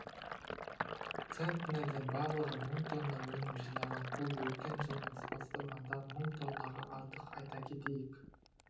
центнерден барлығы мың тонна өнім жинаған бұл өткен жылмен салыстырғанда мың тоннаға артық айта кетейік